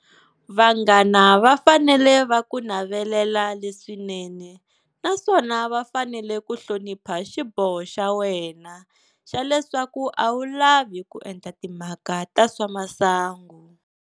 Vanghana va fanele va ku navelela leswinene naswona va fanele ku hlonipha xiboho xa wena xa leswaku a wu lavi ku endla timhaka ta swa masangu.